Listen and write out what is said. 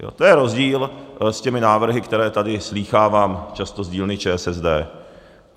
To je rozdíl s těmi návrhy, které tady slýchávám často z dílny ČSSD.